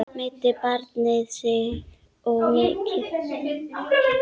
Meiddi barnið sig mikið?